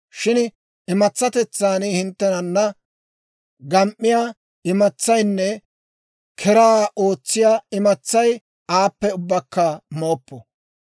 Shin imatsatetsaan hinttenana gam"iyaa imatsaynne keraa ootsiyaa imatsay aappe ubbakka mooppo.